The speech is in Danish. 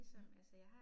Ja